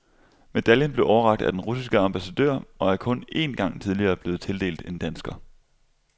Medaljen blev overrakt af den russiske ambassadør og er kun en gang tidligere blevet tildelt en dansker.